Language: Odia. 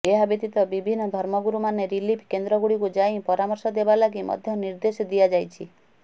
ଏହା ବ୍ୟତୀତ ବିଭିନ୍ନ ଧର୍ମଗୁରୁ ମାନେ ରିଲିଫ କେନ୍ଦ୍ରଗୁଡ଼ିକୁ ଯାଇ ପରାମର୍ଶ ଦେବା ଲାଗି ମଧ୍ୟ ନିର୍ଦ୍ଦେଶ ଦିଆଯାଇଛି